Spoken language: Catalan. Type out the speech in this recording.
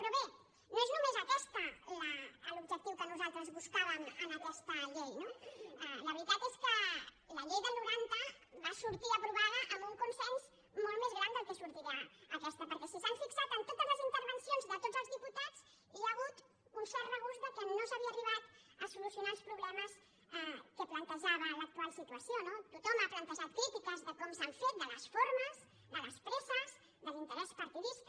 però bé no és només aquest l’objectiu que nosaltres buscàvem en aquesta llei no la veritat és que la llei del noranta va sortir aprovada amb un consens molt més gran del que en sortirà aquesta perquè si s’hi han fixat en totes les intervencions de tots els diputats hi ha ha·gut un cert regust que no s’havien arribat a solucionar els problemes que plantejava l’actual situació no tot·hom ha plantejat crítiques de com s’han fet de les for·mes de les presses de l’interès partidista